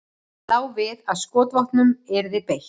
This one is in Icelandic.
Lá við að skotvopnum yrði beitt